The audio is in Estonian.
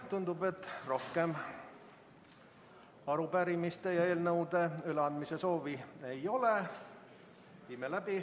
Tundub, et rohkem arupärimiste ja eelnõude üleandmise soovi ei ole.